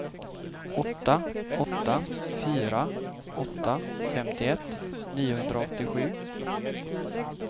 åtta åtta fyra åtta femtioett niohundraåttiosju